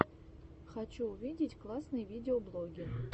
хочу увидеть классные видеоблоги